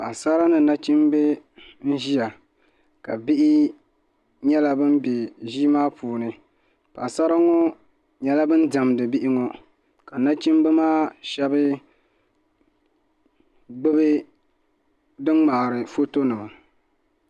Paɣasara ni nachimbi n ʒiya ka bihi nyɛla bin bɛ ʒii maa puuni paɣasara ŋo nyɛla ban diɛmdi bihi ŋo ka Nachimba maa shaba gbubi din ŋmaari foto nima